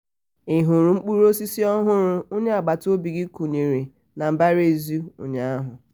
ị hụrụ mkpụrụosisi ọhụrụ onye agbata obi gị kụnyere n'ihu mbaraezi ụnyahụ?